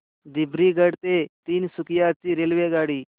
दिब्रुगढ ते तिनसुकिया ची रेल्वेगाडी